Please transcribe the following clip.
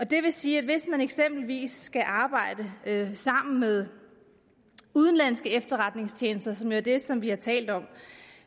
det vil sige at hvis man eksempelvis skal arbejde sammen med udenlandske efterretningstjenester som jo er det som vi har talt om